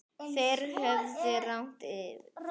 Þeir höfðu rangt fyrir sér.